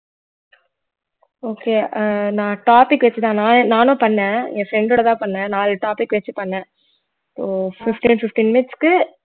okay அஹ் நான் topic வச்சுத்தான் நான் நானும் பண்ணேன் என் friend ஓடதான் பண்ணேன் நாலு topic வச்சு பண்ணேன் so fifteen fifteen minutes க்கு